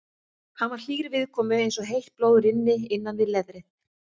Hann var hlýr viðkomu eins og heitt blóð rynni innan við leðrið.